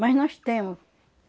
Mas nós temos.